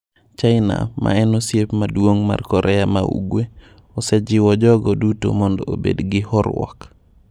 China, ma en osiep maduong’ mar Korea ma Ugwe, osejiwo jogo duto mondo obed gi horuok.